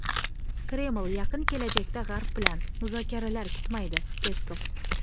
Kreml yaqin kelajakda G‘arb bilan muzokaralar kutmaydi – Peskov.